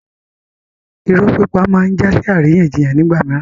Irọ́ pípa máa ń jásí àríyànjiyàn nígbà mìíràn